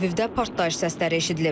Teləvivdə partlayış səsləri eşidilib.